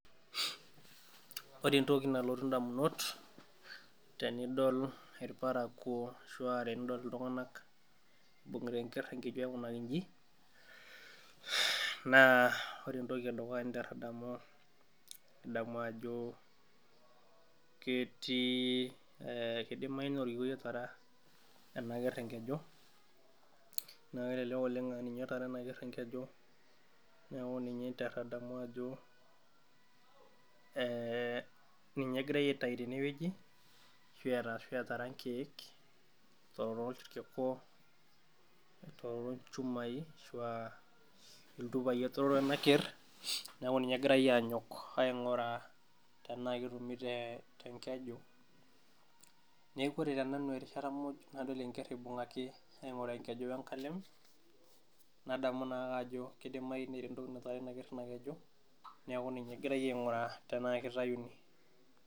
Ore entoki nalotu indamunot tenidol irparakuo ashua tenidol iltung'anak ibung'ita enkerr enkeju aikunaki inji naa ore entoki edukuya ninterr adamu nidamu ajo ketii kidimai naa orkikuei otara ena kerr enkeju naa kelelek oleng aninye otara ena kerr enkeju neeku ninye interr adamu ajo eh ninye egirae aitai tenewueji ashua eta ashu etara inkek etororo ilkiku etororo ilchumai ashua iltupai etororo ena kerr neeku ninye egirae anyok aing'uraa tenaa ketumi te tenkeju neeku ore te nanu erishata muj nadol enkerr ibung'aki aing'uraa enkeju wenkalem nadamu naake ajo kidimai netii entoki natara ena kerr ena keju niaku ninye egirae aing'uraa tenaa kitayuni.